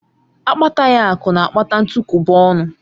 Akpataghi akụ na-akpata ntukwuba ọnụ